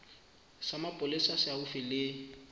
sa mapolesa se haufi le